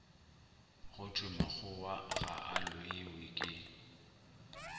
go thwemakgowa ga a loiweke